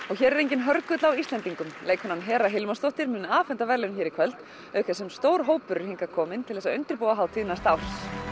og hér er enginn hörgull á Íslendingum leikkonan Hera Hilmarsdóttir mun afhenda verðlaun hér í kvöld auk þess sem stór hópur er hingað kominn til að undirbúa hátíð næsta árs